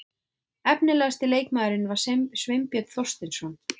Efnilegasti leikmaðurinn var Sveinbjörn Þorsteinsson.